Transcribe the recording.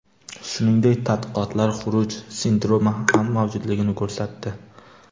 Shuningdek, tadqiqotlar xuruj sindromi ham mavjudligini ko‘rsatdi.